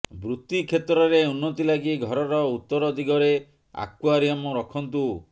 ବୃତ୍ତି କ୍ଷେତ୍ରରେ ଉନ୍ନତି ଲାଗି ଘରର ଉତ୍ତର ଦିଗରେ ଆକ୍ୱାରିୟମ ରଖନ୍ତୁ